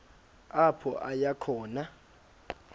apho aya khona